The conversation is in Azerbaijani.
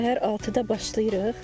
Səhər 6-da başlayırıq.